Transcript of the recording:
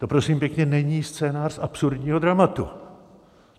To, prosím pěkně, není scénář absurdního dramatu.